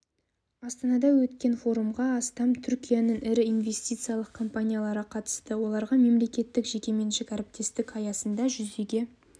астанада өткен форумға астам түркияның ірі инвестициялық компаниялары қатысты оларға мемлекеттік жеке меншік әріптестік аясында жүзеге